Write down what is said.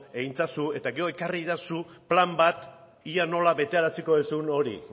egin ezazu eta gero ekarri iezadazu plan bat ea nola beteko duzun hori